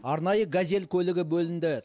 арнайы газель көлік бөлінді